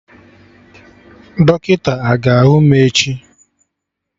Dọkịta aga ahụ mụ echi?